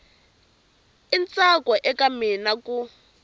i ntsako eka mina ku